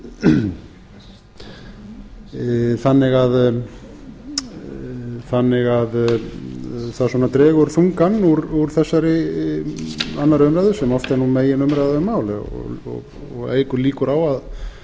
röð atburða þannig að það svona dregur þungann úr þessari annarrar umræðu sem oft er nú meginumræða um mál og eykur líkur á að